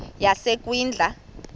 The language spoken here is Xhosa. yasekwindla